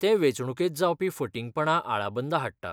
तें वेंचणूकेंत जावपी फटिंगपणा आळाबंदा हाडटा.